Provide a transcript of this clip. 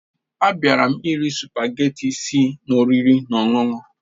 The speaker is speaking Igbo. Abịara m iri spugeetí tti si n'oriri na ọṅụṅụ